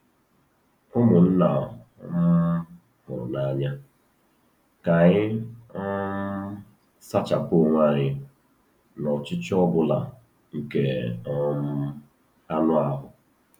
Ụmụnna um hụrụ n'anya, ka anyị um sachapụ onwe anyị n'ọchịchị ọ bụla nke um anụ ahụ.